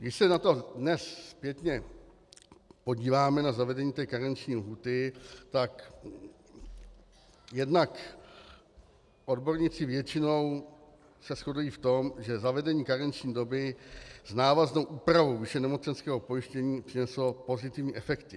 Když se na to dnes zpětně podíváme, na zavedení té karenční lhůty, tak jednak odborníci většinou se shodují v tom, že zavedení karenční doby s návaznou úpravou výše nemocenského pojištění přineslo pozitivní efekty.